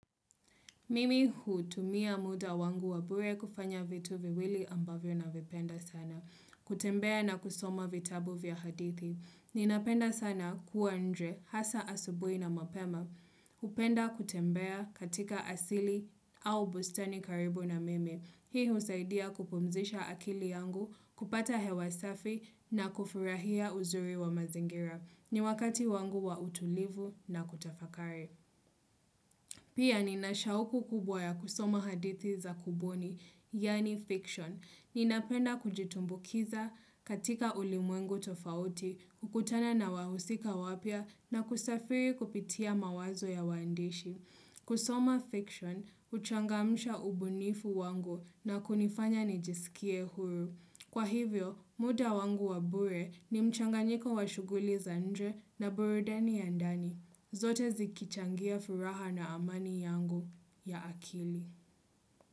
Mimi hutumia muda wangu wabure kufanya vitu viwili ambavyo na vipenda sana. Kutembea na kusoma vitabu vya hadithi. Ninapenda sana kuwa nje hasa asubui na mapema. Hupenda kutembea katika asili au bustani karibu na mimi. Hii husaidia kupumzisha akili yangu kupata hewasafi na kufurahia uzuri wa mazingira. Ni wakati wangu wa utulivu na kutafakari. Pia ni nashauku kubwa ya kusoma hadithi za kuboni, yani fiction. Ni napenda kujitumbukiza katika ulimwengu tofauti, kukutana na wahusika wapia na kusafiri kupitia mawazo ya waandishi. Kusoma fiction, huchangamsha ubunifu wangu na kunifanya nijisikie huru. Kwa hivyo, muda wangu wabure ni mchanga nyiko wa shuguli za nje na burudani ya ndani. Zote zikichangia furaha na amani yangu ya akili.